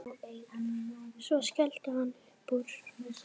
Svo skellti hann upp úr.